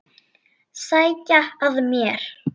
Sækja að mér.